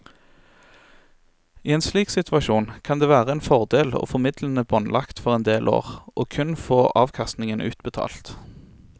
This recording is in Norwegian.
I en slik situasjon kan det være en fordel å få midlene båndlagt for en del år og kun få avkastningen utbetalt.